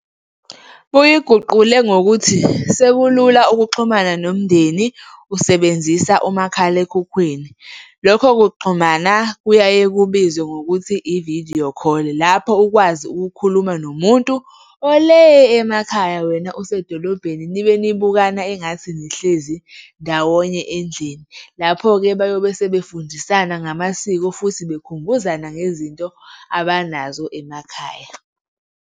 Buyiguqule ngokuthi sekulula ukuxhumana nomndeni usebenzisa umakhalekhukhwini. Lokho kuxhumana kuyaye kubizwe ngokuthi i-video call-i lapho ukwazi ukukhuluma nomuntu ole emakhaya wena usedolobheni, nibe nibukana engathi nihlezi ndawonye endlini. Lapho-ke bayobe sebefundisa ngamasiko futhi bekhumbuzana ngezinto abanazo emakhaya.